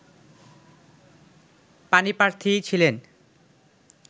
পাণিপ্রার্থী ছিলেন